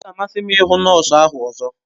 Ọ ga amasị m ịhụ nọọsụ ahụ ọzọ